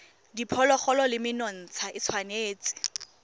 diphologolo le menontsha e tshwanetse